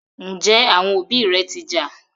Njé àwọn òbí ré ti ja?